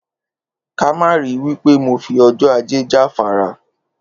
Ká má ri wí pé mo fi o̩jó̩ Ajé jáfara